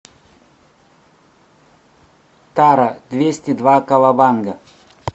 тара двести два кавабанга